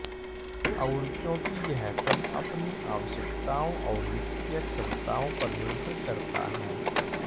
और क्योंकि यह सब अपनी आवश्यकताओं और वित्तीय क्षमताओं पर निर्भर करता है